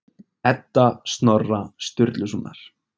Edda Snorra Sturlusonar.